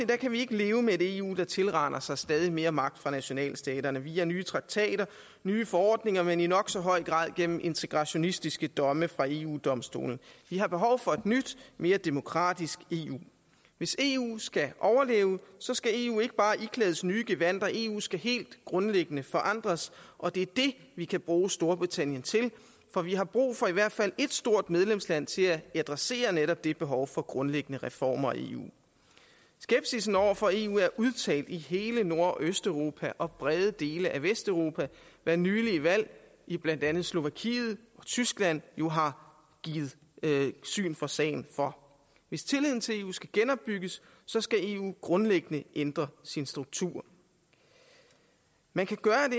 kan vi ikke leve med et eu der tilraner sig stadig mere magt fra nationalstaterne via nye traktater nye forordninger men i nok så høj grad gennem integrationistiske domme fra eu domstolen vi har behov for et nyt mere demokratisk eu hvis eu skal overleve skal eu ikke bare iklædes nye gevandter eu skal helt grundlæggende forandres og det er det vi kan bruge storbritannien til for vi har brug for i hvert fald et stort medlemsland til at adressere netop det behov for grundlæggende reformer i eu skepsisen over for eu er udtalt i hele nord og østeuropa og i brede dele af vesteuropa hvad nylige valg i blandt andet slovakiet og tyskland jo har givet syn for sagen for hvis tilliden til eu skal genopbygges skal eu grundlæggende ændre sin struktur man kan gøre